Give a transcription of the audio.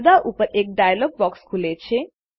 પડદા ઉપર એક ડાયલોગ બોક્સ ખુલે છે